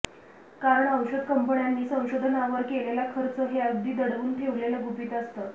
कारण औषध कंपन्यांनी संशोधनावर केलेला खर्च हे अगदी दडवून ठेवलेलं गुपित असतं